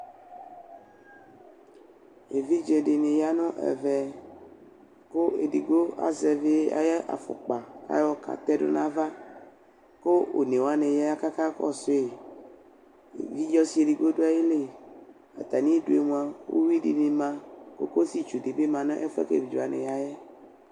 Evidze dɩnɩ ya nʋ ɛvɛ, kʋ edigbo azɛvɩ ayʋ afukpa , ayɔ katɛdʋ nʋ ava Kʋ one wanɩ ya kʋ akakɔsʋ yɩ Evidze ɔsɩ edigbo dʋayili Atamɩ idu yɛ mʋa, uyʋi dɩnɩ ma Kokositsu dɩ bɩ ma nʋ efʋ yɛ kʋ evidze wanɩ ya yɛ